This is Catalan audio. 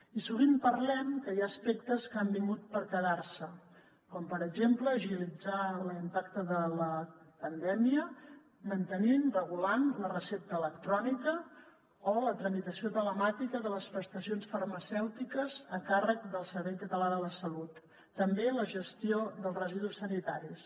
i sovint parlem que hi ha aspectes que han vingut per quedar se com per exemple agilitzar l’impacte de la pandèmia mantenint regulant la recepta electrònica o la tramitació telemàtica de les prestacions farmacèutiques a càrrec del servei català de la salut i també la gestió dels residus sanitaris